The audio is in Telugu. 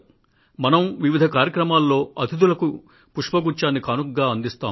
మనం వివిధ కార్యక్రమాల్లో అతిథులకు పుష్పగుచ్ఛాన్ని కానుకగా అందిస్తాం